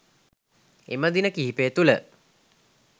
එම දින කිහිපය තුළ